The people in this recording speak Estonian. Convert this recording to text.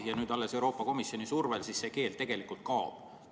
Ja alles nüüd Euroopa Komisjoni survel see keeld kaob.